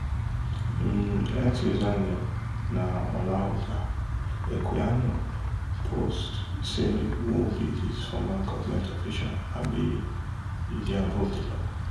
im x username na olaudah equiano post say who be dis former govment official abi e dey above di law